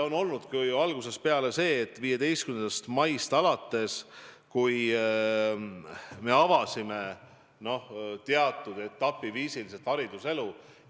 No 15. maist alates me avasime etapiviisiliselt hariduselu.